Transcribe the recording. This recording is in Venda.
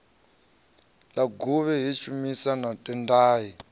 luguvha he shumba na tendai